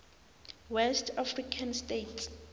west african states